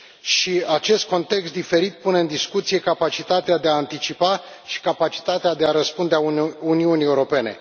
Și acest context diferit pune în discuție capacitatea de a anticipa și capacitatea de a răspunde a Uniunii Europene.